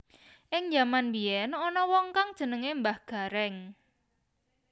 Ing jaman mbiyén ana wong kang jenengané Mbah Garéng